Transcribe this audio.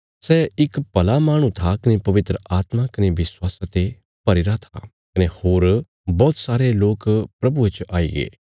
सै इक भला माहणु था कने पवित्र आत्मा कने विश्वासा ते भरीरा था कने होर बौहत सारे लोक प्रभुये च आईगे